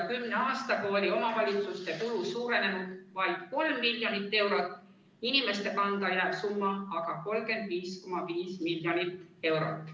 Kümne aastaga oli omavalitsuste kulu suurenenud vaid kolm miljonit eurot, inimeste kanda jääv summa aga 35,5 miljonit eurot.